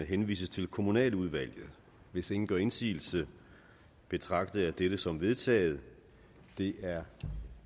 henvises til kommunaludvalget hvis ingen gør indsigelse betragter jeg det som vedtaget det er